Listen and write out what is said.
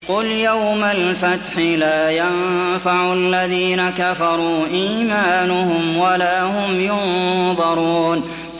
قُلْ يَوْمَ الْفَتْحِ لَا يَنفَعُ الَّذِينَ كَفَرُوا إِيمَانُهُمْ وَلَا هُمْ يُنظَرُونَ